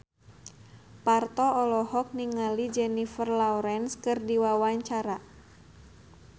Parto olohok ningali Jennifer Lawrence keur diwawancara